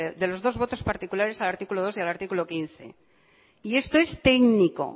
de los dos votos particulares al artículo dos y al artículo quince y esto es técnico